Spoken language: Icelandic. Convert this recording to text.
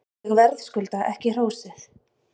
Ég verðskulda ekki hrósið.